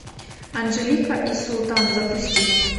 анжелика и султан запусти